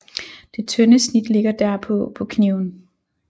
Det tynde snit ligger derpå på kniven